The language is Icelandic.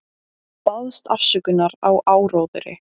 Baðst afsökunar á áróðri